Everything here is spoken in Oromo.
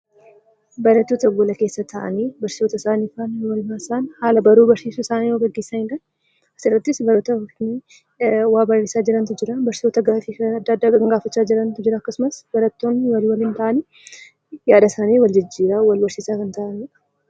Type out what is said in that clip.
Barattoota gola keessa taa'anii barsiisota isaanii faana waliin wal barsiisan haala baruuf barsiistu isaanii gaggeessani Isa irrattis barattoota waa barreessaa jirantu jira barsiisota gaaffiifaa adda addaa kan gaafachaa jirantu jira akkasumas barattoonni Wal waliin ta'anii yaadasaanii Wal jijjiiraa Wal barsiisaa kan taa'aniidha.